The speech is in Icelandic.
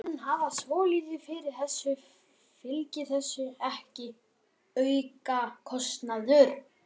Björn: Menn hafa svolítið fyrir þessu, fylgir þessu ekki aukakostnaður?